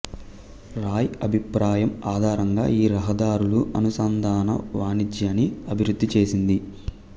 రాయ్ అభిప్రాయం ఆధారంగా ఈ రహదారుల అనుసంధానం వాణిజ్యాన్ని అభివృద్ధి చేసింది